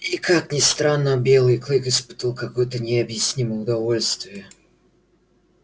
и как это ни странно белый клык испытывал какое то необъяснимое удовольствие